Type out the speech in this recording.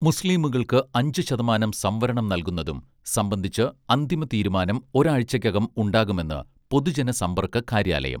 മുസ്ലീമുകൾക്ക് അഞ്ചു ശതമാനം സംവരണം നൽകുന്നതും സംബന്ധിച്ച് അന്തിമ തീരുമാനം ഒരാഴ്ചക്കകം ഉണ്ടാകുമെന്ന് പൊതുജന സമ്പർക്ക കാര്യാലയം